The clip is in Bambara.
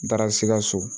N taara sikaso